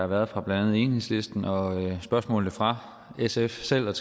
været fra blandt andet enhedslisten og spørgsmålene fra sf selv og